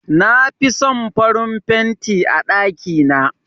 Na fi son farin fenti a ɗakina.